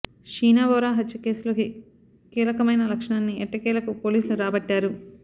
షీనా బోరా హత్య కేసులో కీలకమైన సాక్ష్యాన్ని ఎట్టకేలకు పోలీసులు రాబట్టారు